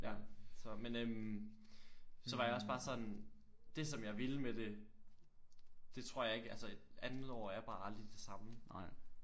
Ja så men øh så var jeg også bare sådan det som jeg ville med det det tror jeg ikke altså andet år er bare aldrig det samme